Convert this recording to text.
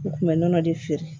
U tun bɛ nɔnɔ de feere